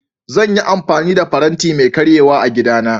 Zan yi amfani da faranti mai karyewa kawai a gidana